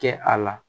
Kɛ a la